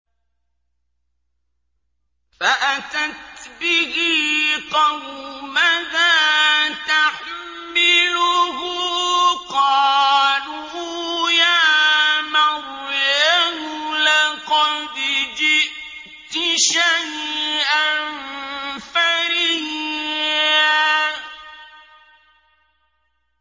فَأَتَتْ بِهِ قَوْمَهَا تَحْمِلُهُ ۖ قَالُوا يَا مَرْيَمُ لَقَدْ جِئْتِ شَيْئًا فَرِيًّا